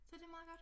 Så det meget godt